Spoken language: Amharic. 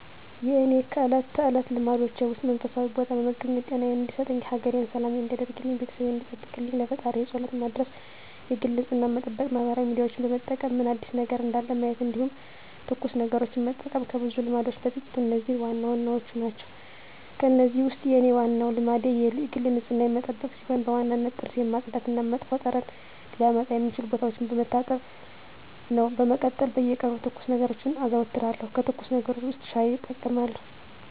የእኔ ከእለት ተለት ልማዶቼ ውስጥ መንፈሳዊ ቦታ በመገኘት ጤናየን እንዲሰጠኝ፣ ሀገሬን ሰላም እንዲያደርግልኝ፣ ቤተሰቤን እንዲጠብቅልኝ ለፈጣሪየ ፀሎት መድረስ የግል ንፅህናየን መጠበቅ ማህበራዊ ሚዲያዎችን በመጠቀም ምን አዲስ ነገር እንዳለ ማየት እንዲሁም ትኩስ ነገሮችን መጠቀም ከብዙ ልማዶቼ በጥቂቱ እነዚህ ዋናዎቹ ናቸው። ከእነዚህ ውስጥ የኔ ዋናው ልማዴ የግል ንፅህናዬን መጠበቅ ሲሆን በዋነኝነት ጥርሴን ማፅዳት እና መጥፎ ጠረን ሊያመጡ የሚችሉ ቦታዎችን መታጠብ ነው። በመቀጠል በየቀኑ ትኩስ ነገሮችን አዘወትራለሁ ከትኩስ ነገሮች ውስጥ ሻይ እጠቀማለሁ።